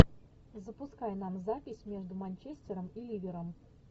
запускай нам запись между манчестером и ливером